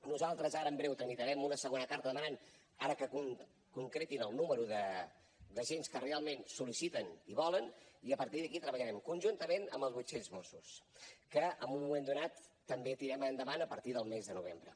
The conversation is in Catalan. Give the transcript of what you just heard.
nosaltres ara en breu tramitarem una segona carta demanant que concretin el nombre d’agents que realment ho sol·liciten i volen i a partir d’aquí treballarem conjuntament amb els vuit cents mossos que en un moment donat també tirarem endavant a partir del mes de novembre